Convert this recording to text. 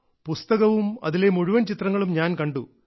പുസ്തകവും അതിലെ മുഴുവൻ ചിത്രങ്ങളും ഞാൻ കണ്ടു